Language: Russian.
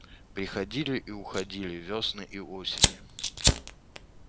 приходили и уходили вёсны и осени